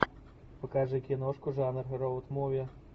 покажи киношку жанр роуд муви